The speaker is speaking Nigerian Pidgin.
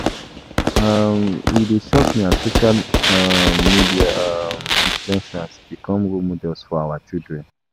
um E dey shock me as social um media um influencers become role models for our children.